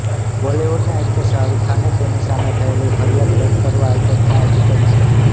બોલીવુડના એકટર શાહરૃખ ખાને તેની સામે થયેલી ફરિયાદ રદ કરવા હાઇકોર્ટમાં અરજી કરી છે